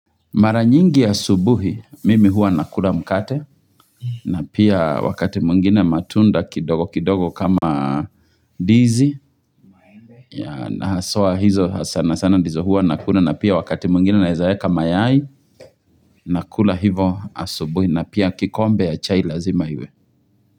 Mara nyingi ya asubuhi, mimi hua nakula mkate, na pia wakati mwingine matunda kidogo kidogo kama ndizi, yanasoa hizo sana sana ndizo hua nakula, na pia wakati mwingine naezaeka mayai, nakula hivo asubuhi, na pia kikombe ya chai lazima iwe.